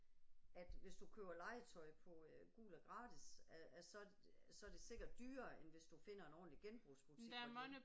At hvis du køber legetøj på øh Gul og Gratis, at at så så er det sikkert dyrere end hvis du finder en ordentlig genbrugsbutik